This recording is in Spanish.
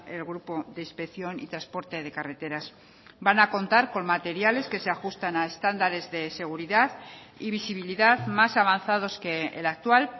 el grupo de inspección y transporte de carreteras van a contar con materiales que se ajustan a estándares de seguridad y visibilidad más avanzados que el actual